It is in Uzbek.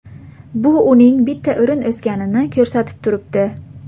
Bu uning bitta o‘rin o‘sganini ko‘rsatib turibdi.